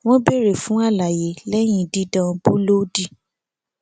wọn béèrè fún àlàyé lẹyìn dídán búlóòdì